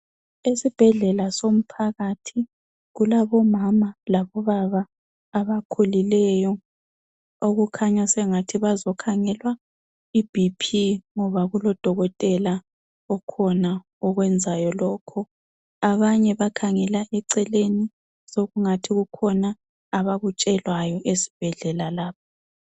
Esibhedlela somphakathi kulabomama labobaba abakhulileyo okukhanya sengathi bazokhangelwa iBP ngoba kulodokotela okhona okwenzayo lokho. Abanye bakhangela eceleni sekungathi kukhona abakutshelwayo esibhedlela lapho.